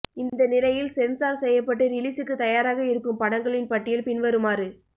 இந்த நிலையில் சென்சார் செய்யப்பட்டு ரிலீசுக்கு தயாராக இருக்கும் படங்களின் பட்டியல் பின்வருமாறு